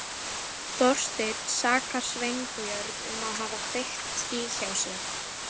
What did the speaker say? Þorsteinn sakar Sveinbjörn um að hafa kveikt í hjá sér.